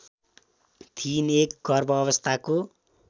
थिइन् एक गर्भावस्थाको